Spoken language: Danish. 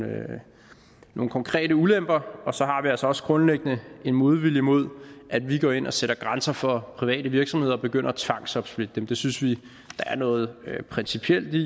nogle konkrete ulemper og så har vi altså også grundlæggende en modvilje mod at vi går ind og sætter grænser for private virksomheder og begynder at tvangsopsplitte dem det synes vi der er noget principielt i